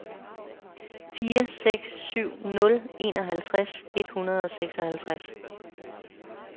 fire seks syv nul enoghalvtreds et hundrede og seksoghalvtreds